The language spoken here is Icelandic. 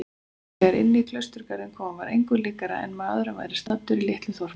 Þegar inní klausturgarðinn kom var engu líkara en maður væri staddur í litlu þorpi.